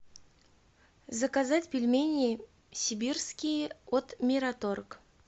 заказать пельмени сибирские от мираторг